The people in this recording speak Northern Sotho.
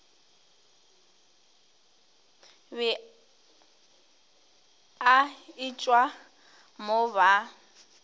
be a etšwa mo ba